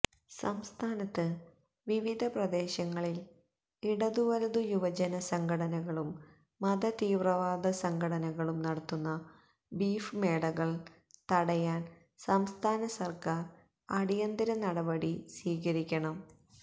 സംസ്ഥാനത്ത് വിവിധ പ്രദേശങ്ങളില് ഇടതുവലതു യുവജനസംഘടനകളും മതതീവ്രവാദസംഘടനകളും നടത്തുന്ന ബീഫ് മേളകള് തടയാന് സംസ്ഥാനസര്ക്കാര് അടിയന്തിര നടപടി സ്വീകരിക്കണം